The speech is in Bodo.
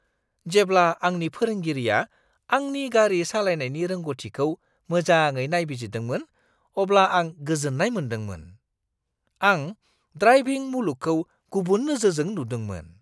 जेब्ला आंनि फोरोंगिरिआ आंनि गारि सालायनायनि रोंग'थिखौ माजाङै नायबिजिरदोंमोन अब्ला आं गोजोननाय मोनदोंमोन। आं ड्राइभिं मुलुगखौ गुबुन नोजोरजों नुदोंमोन।